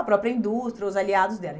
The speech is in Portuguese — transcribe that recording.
A própria indústria, os aliados dela.